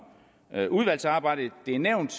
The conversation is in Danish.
udvalgsarbejdet det er nævnt